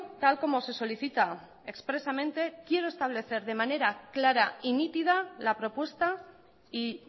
tal como se solicita expresamente quiero establecer de manera clara y nítida la propuesta y